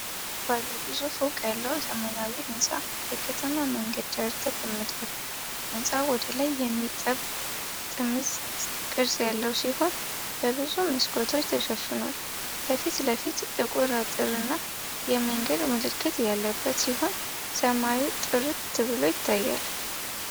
ባለብዙ ፎቅ ያለው ዘመናዊ ሕንፃ በከተማ መንገድ ዳር ተቀምጧል። ሕንፃው ወደ ላይ የሚጠብ ጥምዝ ቅርጽ ያለው ሲሆን፣ በብዙ መስኮቶች ተሸፍኗል። ከፊት ለፊት ጥቁር አጥርና የመንገድ ምልክት ያለበት ሲሆን፣ ሰማዩ ጥርት ብሎ ይታያል።